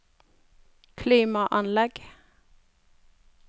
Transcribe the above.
klimaanlegg